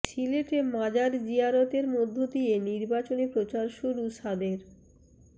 সিলেটে মাজার জিয়ারতের মধ্য দিয়ে নির্বাচনী প্রচার শুরু সাদের